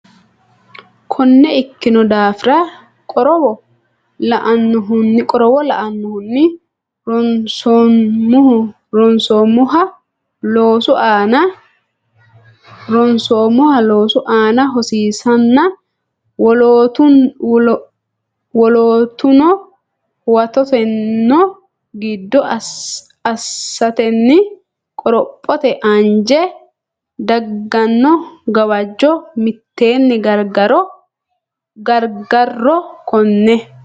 Konne ikkino daafira, qorowo lainohunni ronsoommoha loosu aana hosiisanna wolootuno huwattanno gede assatenni qorophote anjenni dagganno gawajjo mitteenni gargarro Konne.